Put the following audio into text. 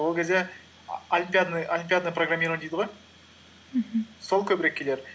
ол кезде олимпиадный программирование дейді ғой мхм сол көбірек келер